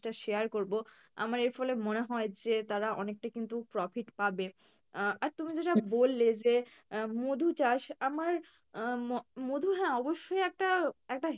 টা share করবো, আমার এর ফলে মনে হয় যে তারা অনেকটা কিন্তু profit পাবে আহ আর তুমি যেটা বললে যে আহ মধু চাষ আমার আহ ম~মধু হ্যাঁ অবশ্যই একটা একটা